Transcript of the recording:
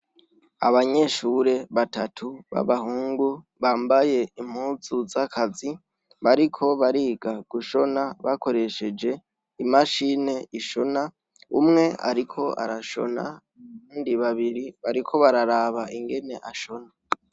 Abanyeshure batatu b'abahungu bambaye impuzu z'akazi, bariko bariga gushona bakoresheje imashini ishona, umwe ariko arashona, abandi babiri bariko bararaba ingene ashona.